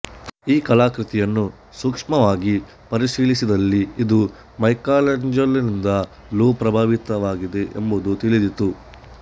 ಈ ಕಲಾಕೃತಿಯನ್ನು ಸೂಕ್ಷ್ಮವಾಗಿ ಪರಿಶೀಲಿಸಿದಲ್ಲಿ ಇದು ಮೈಕಲ್ಯಾಂಜೆಲೋನಿಂದಲೂ ಪ್ರಭಾವಿತವಾಗಿದೆ ಎಂಬುದು ತಿಳಿದೀತು